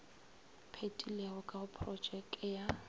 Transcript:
phethilwego ka go porotšeke ya